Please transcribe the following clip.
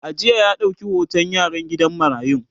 a jiya ya dauƙi hoton yaran gidan marayun